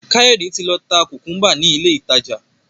Kayode tí ló tá kukumba ní ilé ìtàjà.